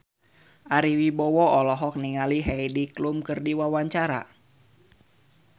Ari Wibowo olohok ningali Heidi Klum keur diwawancara